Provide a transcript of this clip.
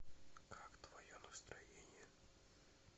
как твое настроение